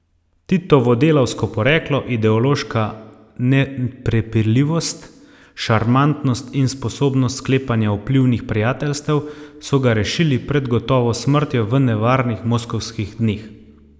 Titovo delavsko poreklo, ideološka neprepirljivost, šarmantnost in sposobnost sklepanja vplivnih prijateljstev so ga rešili pred gotovo smrtjo v nevarnih moskovskih dneh.